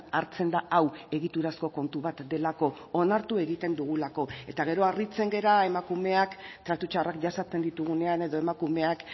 hartzen da hau egiturazko kontu bat delako onartu egiten dugulako eta gero harritzen gara emakumeak tratu txarrak jasaten ditugunean edo emakumeak